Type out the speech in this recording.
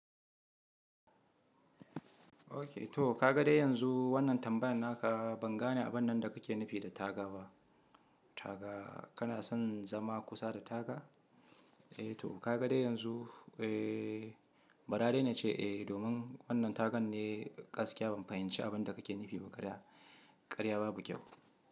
Okay to ka ga dai yanzu wannan tambayar naka ban gane abun nan da kake nufi da taga ba. Taga kana son zama kusa da taga? Eh to ka ga dai yanzu eh, bara dai na ce eh domin wannan tagan ne gaskiya ban fahimci abin da kake nufi ba karya. Karya babu kyau.